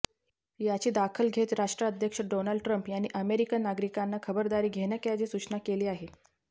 याची दाखल घेत राष्ट्राध्यक्ष डोनाल्ड ट्रम्प यांनी अमेरीकन नागरिकांना खबदारी घेण्याकॅजी सूचना केली आहे